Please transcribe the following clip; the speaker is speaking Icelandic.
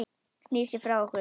Snýr sér frá okkur.